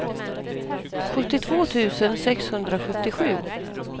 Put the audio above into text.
sjuttiotvå tusen sexhundrasjuttiosju